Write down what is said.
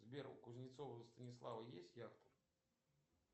сбер у кузнецова станислава есть яхта